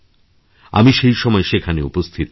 আমি সেই সময় সেখানে উপস্থিত ছিলাম